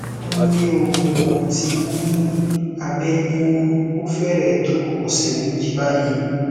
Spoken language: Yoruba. nle o mo ti ni abe yiyunni o fere to ọsẹ meji bayi